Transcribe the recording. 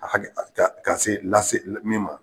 A hakili ka se lase min ma